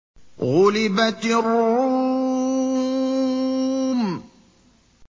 غُلِبَتِ الرُّومُ